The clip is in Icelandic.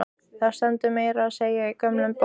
Það stendur meira að segja í gömlum bókum.